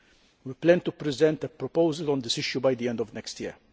We plan to present a proposal on this issue by the end of next year.